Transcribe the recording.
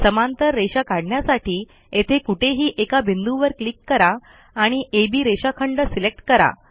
समांतर रेषा काढण्यासाठी येथे कुठेही एका बिंदूवर क्लिक करा आणि अब रेषाखंड सिलेक्ट करा